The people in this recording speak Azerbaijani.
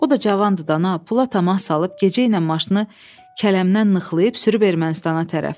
O da cavandır da, pula təmas salıb gecə ilə maşını kələmdən nıxlayıb sürüb Ermənistana tərəf.